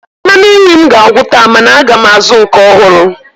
Mmanụ nri m ga-agwụ taa mana aga m azụ nke ọhụrụ